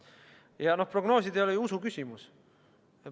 Ja prognoosid ei ole ju usuküsimus.